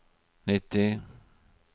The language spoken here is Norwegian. nitti